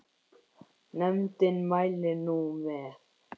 Nefndin mælir nú með